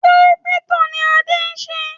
Kírípítò ni Adé ń ṣe